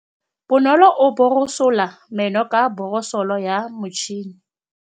Bonolô o borosola meno ka borosolo ya motšhine.